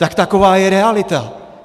Tak taková je realita.